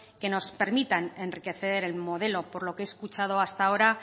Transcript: que nos permitan enriquecer el modelo por lo que he escuchado hasta ahora